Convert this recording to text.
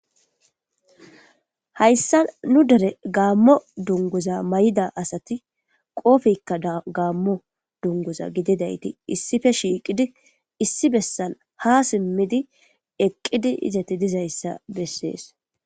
Hayissa nu derre gammo dunuguza mayidda assati qobbeka bagayi wothishini, issipe shiqidi issi bessani haa simidi eqidi deyisa bessesi.